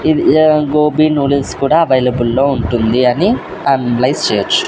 ఇది ఆ గోబీ న్యూడిల్స్ కూడా అవైలబుల్ లో ఉంటుంది అని అనలైస్ చేయొచ్చు.